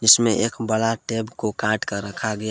इसमें एक बड़ा टेप को काट कर रखा गया।